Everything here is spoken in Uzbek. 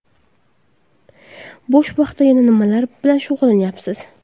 Bo‘sh vaqtda yana nimalar bilan shug‘ullanyapsiz?